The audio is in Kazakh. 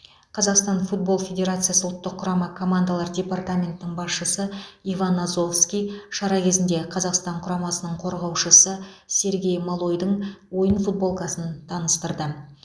қазақстан футбол федерациясы ұлттық құрама командалар департаментінің басшысы иван азовский шара кезінде қазақстан құрамасының қорғаушысы сергей малойдың ойын футболкасын таныстырды